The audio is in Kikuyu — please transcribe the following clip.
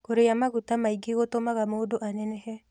Kũrĩa magũta maĩngĩ gũtũmaga mũndũ anenehe